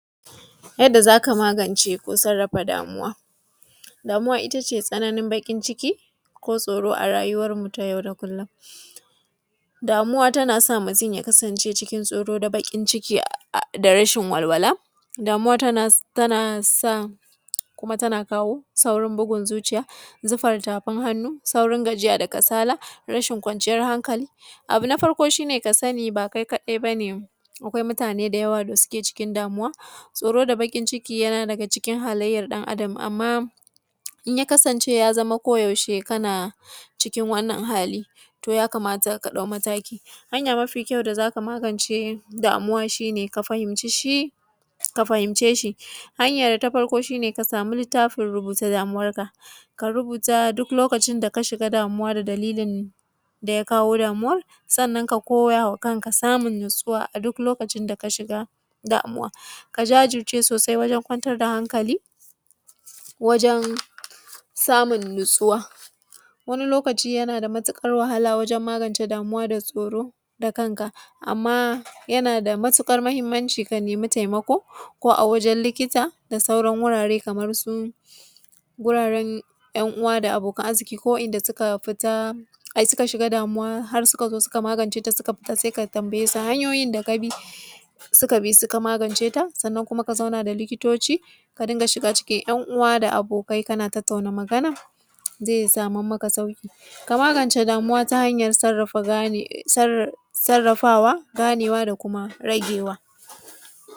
Yadda zaka magance ko sarrafa damuwa. Damuwa ita ce tsananin baƙin ciki, ko tsoro a rayuwarmu ta yau da kullum. Damuwa tana sa mutum ya kasance cikin tsoro da baƙin ciki da rashin walwala. Damuwa tana sa, kuma tana kawo saurin bugun zuciya, zufar tafin hannu, saurin gajiya da kasala, rashin kwanciyar hankali. Abu na farko shi ne ka sani ba kai kadai bane akwai mutane da yawa suke cikin damuwa, tsoro da baƙin ciki yana daga cikin halaiyar ɗan Adam, amma in ya kasance ya zama ko yaushe kana cikin wannan hali to ya kamata ka ɗau mataki. Hanya mafi kyau da zaka magance damuwa shi ne, ka fahimci shi, ka fahimce shi. Hanya ta farko shi ne ka samu littafin rubuta damuwarka, ka rubuta duk lokacin da ka shiga damuwa da dalilin daya kawo damuwar, sannan ka koyama kanka samun natsuwa a duk lokacin da ka shiga damuwa. Ka jajirce sosai wajen kwantar da hankali, wajen samun natsuwa, wani lokaci yana da matuƙar wahala wajen magance damuwa da tsoro da kanka, amma yana da matuƙar mahimmanci ka nemi taimako ko a wajen likita da sauran wurare kamar su: guraren ‘yan uwa da abokan arziki ko wa’inda suka fita ai suka shiga damuwa har suka zo suka maganceta sai suka fita sai ka tambayesu hanyoyin da ka bi, suka bi suka maganceta, sannan kuma ka zauna da likitoci ka dinga shiga cikin ‘yan uwa da abokai kana tattauna magana ze saman maka sauki. Ka magance damuwa ta hanya sarafa gane, sarrafawa ganewa ,da kuma ragewa.